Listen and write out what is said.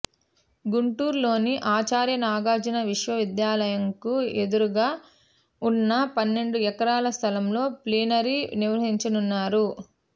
గుంటూరులోని ఆచార్య నాగార్జున విశ్వవిద్యాలయంకు ఎదురుగా ఉన్న పన్నెండు ఎకరాల స్థలంలో ప్లీనరీ నిర్వహించనున్నారు